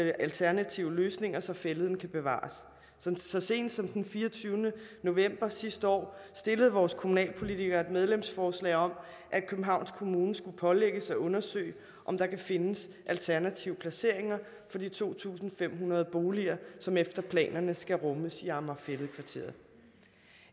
alternative løsninger så fælleden kan bevares så sent som den fireogtyvende november sidste år stillede vores kommunalpolitikere et medlemsforslag om at københavns kommune skulle pålægges at undersøge om der kan findes alternative placeringer for de to tusind fem hundrede boliger som efter planerne skal rummes i amager fælled kvarteret